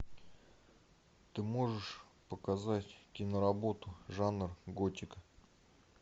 ты можешь показать киноработу жанр готика